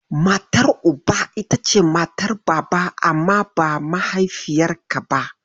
Matar Uba ita ce matar Baba amma ba mahaifiyarka ba.